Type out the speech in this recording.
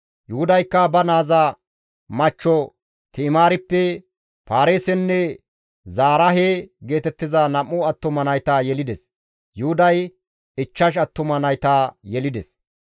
Yuhudaykka ba naaza machcho Ti7imaarippe Paareesenne Zaraahe geetettiza nam7u attuma nayta yelides; Yuhuday ichchash attuma nayta yelides.